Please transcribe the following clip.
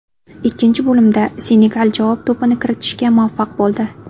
Ikkinchi bo‘limda Senegal javob to‘pini kiritishga muvaffaq bo‘ldi.